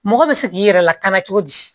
Mɔgɔ bɛ se k'i yɛrɛ lakana cogo di